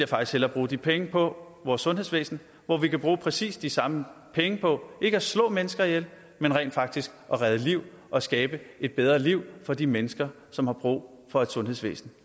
faktisk hellere bruge de penge på vores sundhedsvæsen hvor vi kan bruge præcis de samme penge på ikke at slå mennesker ihjel men rent faktisk at redde liv og skabe et bedre liv for de mennesker som har brug for et sundhedsvæsen